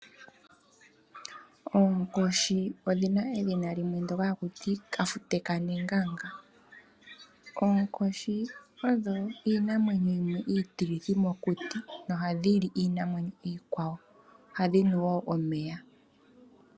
Oonkoshi odhina edhina limwe ndyoka haku ti kafute kanenganga. Oonkoshi odho iinamwenyo yimwe itilithi mokuti noha dhili iinamwenyo iikwawo ohadhi nu wo omeya.